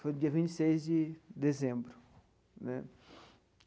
Foi no dia vinte e seis de dezembro né.